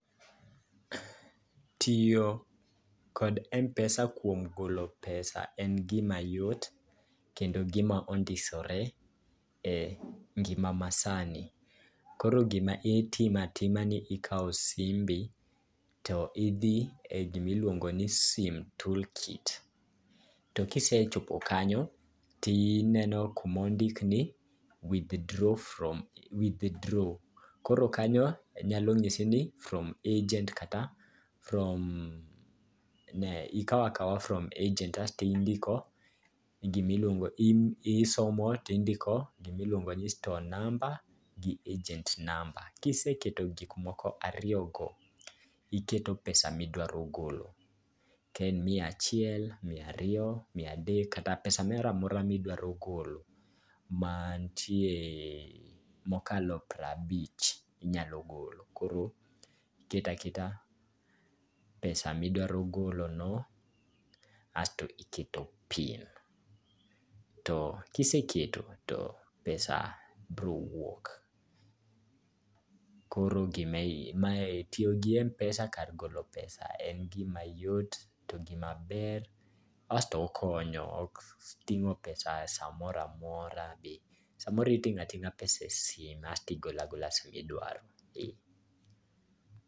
Tiyo kod m-pesa kuom golo pesa en gima yot kendo gima ondisore e ngima masani. Koro gima itimo atima ni ikawo simbi, to idhi e gima iluongo ni sim toolkit, to kise chopo kanyo to ineno kama ondiki ni withdraw from, Koro kanyo nyalo nyisi ni from agent ikawo akawa from agent. Isomo to indiko gima iluongo ni store number, gi agent number. Kiseketo gik moko ariyogo, iketo pesa midwaro golo. Ka en miya chiel, miya ariyo kata pesa moro amora midwaro golo. Man tie mokalo piero abich, inyalo golo. Iketo aketa pesa midwaro golono, kae to iketo pin. To kiseketo to pesa biro wuok. Koro mae tiyo gi m-pesa kar golo pesa en gima yot to en gima ber. Okon yo ok ting'o pesa [cvs] samoro amora. Samoro iting'o ating'a e simu kaeto igolo sama idwaro